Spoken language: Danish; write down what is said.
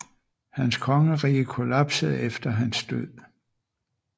Hans kongerige kollapsede efter hans død